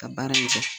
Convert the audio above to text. Ka baara in kɛ